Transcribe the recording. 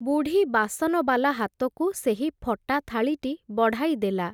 ବୁଢ଼ୀ ବାସନବାଲା ହାତକୁ ସେହି ଫଟା ଥାଳିଟି ବଢ଼ାଇ ଦେଲା ।